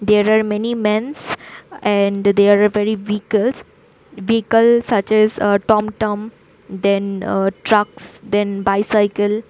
There are many mens and they are very vehicles vehicles such as tomtom then trucks then bicycle.